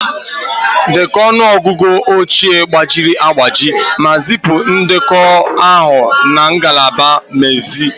Dekọọ ọnụ ọgụgụ oche gbajiri agbaji ma zipụ ndekọ ahụ na ngalaba mmezi